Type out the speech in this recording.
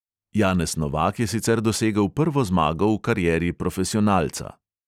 Janez novak je sicer dosegel prvo zmago v karieri profesionalca.